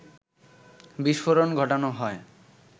বিস্ফোরণ ঘটানো হয়